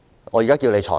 我現在要求你裁決。